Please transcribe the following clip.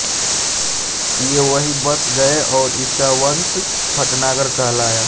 ये वहीं बस गये और इनका वंश भटनागर कहलाया